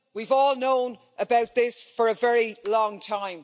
We've all known about this for a very long time.